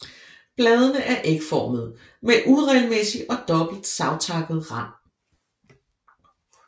Bladene er ægformede med uregelmæssig og dobbelt savtakket rand